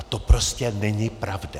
A to prostě není pravda.